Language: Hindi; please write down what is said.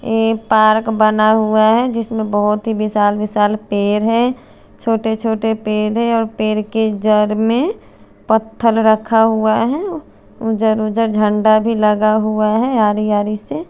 एक पार्क बना हुआ है जिसमे बहुत ही विसाल विसाल पेर है छोटे छोटे पेर है और पेर के जड़ में पत्थर रखा हुआ है जरो जार झंडा भी लगा हुआ है आड़ी आड़ी से--